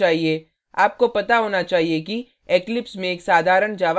आपको पता होना चाहिए कि eclipse में एक साधारण java program कैसे लिखें